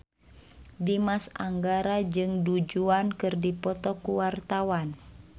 Dimas Anggara jeung Du Juan keur dipoto ku wartawan